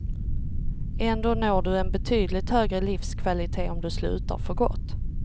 Ändå når du en betydligt högre livskvalitet om du slutar för gott.